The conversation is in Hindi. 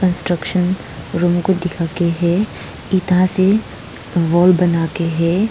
स्ट्रक्चर रूम को दिखा कर है ईंटों से वॉल बनाकर है।